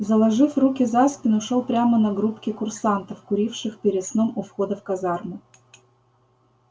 заложив руки за спину шёл прямо на группки курсантов куривших перед сном у входа в казарму